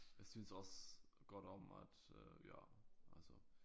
Jeg synes også godt om at øh ja altså